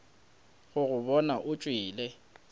go go bona o tšwele